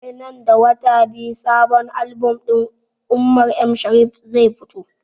Sai nan da wata biyu sabon album din umar m shariff zai fito